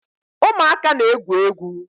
Ụmụaka na-egwu egwu